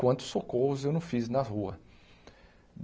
Quantos socorros eu não fiz na rua.